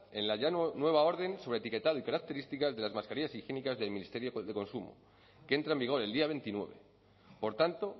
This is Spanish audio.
en la ya nueva orden sobre etiquetado y características de las mascarillas higiénicas del ministerio de consumo que entra en vigor el día veintinueve por tanto